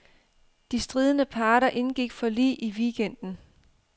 De stridende parter indgik forlig i weekenden.